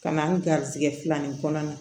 Ka na n garijɛgɛ filanin kɔnɔna na